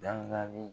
Dali